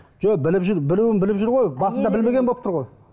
жоқ біліп жүр білуін біліп жүр ғой басында білмеген болып тұр ғой